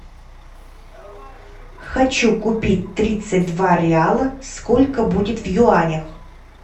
хочу купить тридцать два реала сколько будет в юанях